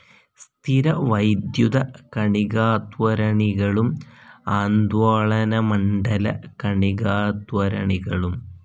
സ്ഥിരവൈദ്യുത കണികാത്വരണികളും ആന്ദോളനമണ്ഡല കണികാത്വരണികളും.